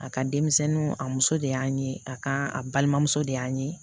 A ka denmisɛnninw a muso de y'an ye a ka a balimamuso de y'an ye